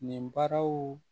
Nin baraw